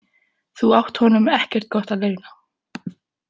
Þú átt honum ekkert gott að launa.